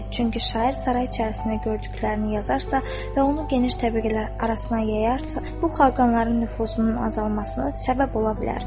Çünki şair saray içərisində gördüklərini yazarsa və onu geniş təbəqələr arasına yayarsa, bu xaqanların nüfuzunun azalmasına səbəb ola bilər.